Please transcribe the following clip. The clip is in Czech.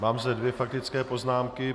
Mám zde dvě faktické poznámky.